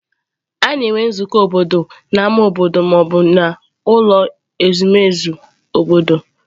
A na-enwe nzukọ obodo n'ámá obodo ma ọ bụ n'ụlọ ezumezu obodo